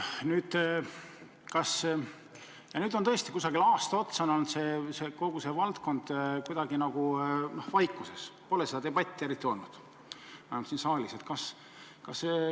Nüüd tõesti on aasta otsa olnud kogu see valdkond kuidagi nagu vaikuses, pole seda debatti eriti siin saalis olnud.